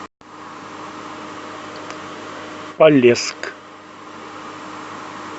полесск